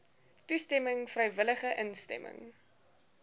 toestemming vrywillige instemming